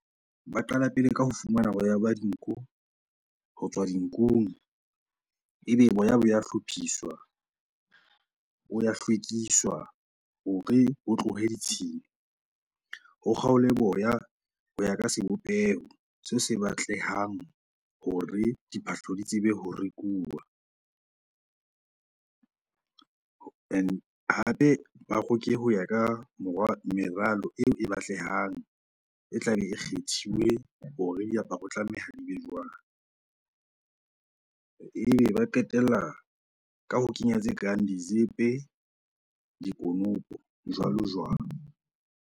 Ba qala pele ka ho fumana boya ba dinku ho tswa dinkung ebe boya bo ya hlophiswa, bo ya hlwekiswa hore bo tlohe ditshila. O kgaole boya ho ya ka sebopeho seo se batlehang hore diphahlo di tsebe ho rekuwa hape ba roke ho ya ka meralo eo e batlehang e tlabe e kgethiwe hore diaparo tlameha di be jwang. Ebe ba qetella ka ho kenya tse kang dizepe dikonopo jwalo-jwalo.